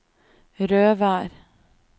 Røvær